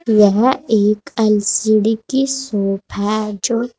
यह एक एल_सी_डी की शॉप है जो--